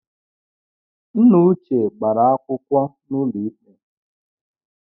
Nna uche gbara akwụkwọ n’ụlọikpe